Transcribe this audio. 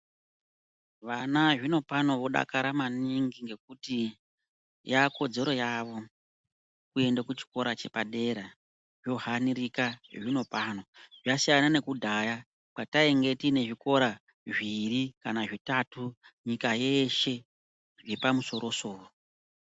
Vana zvino pano vodakara maningi ngekuti yava kodzero yavo kuende kuchikora chepadera. Zvohanirika zvino pano, zvasiyana nakudhaya kwatainge tiine zvikora zviviri kana zvitatu nyika yeshe zvepa musorosoro.